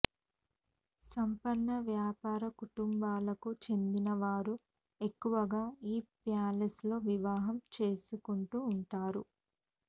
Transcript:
సంపన్న వ్యాపార కుటుంబాలకు చెందిన వారు ఎక్కువగా ఈ ప్యాలెస్ లో వివాహం చేసుకొంటూ ఉంటారు